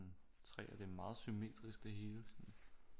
Træer det er meget symmetrisk det hele sådan